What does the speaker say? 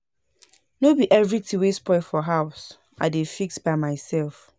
No be everytin wey spoil for house I dey fix by mysef.